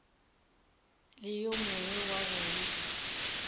le yo mongwe wa bona